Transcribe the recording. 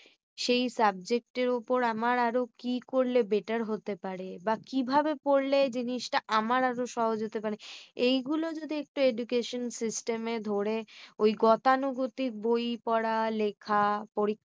সেই subject এর উপর আরো কি করলে better হতে পারে বা কিভাবে পড়লে জিনিসটা আমার আরো সহজ হতে পারে মানে। এই গুলো যদি একটু education system এ ধরে ওই গতানুগতিক বই পড়া লেখা পরীক্ষা